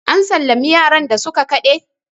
an sallami yaran da suka Kade!